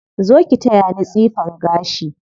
Zo ki taya ni tsifan gashi.